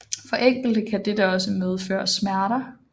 For enkelte kan dette også medføre smerter